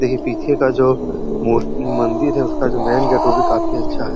देखिये पीछे का जो है वह मंदिर है उसका जो मेन गेट है वो भी काफी अच्छा है।